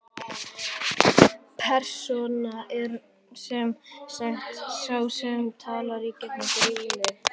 Persóna er sem sagt sá sem talar í gegnum grímu.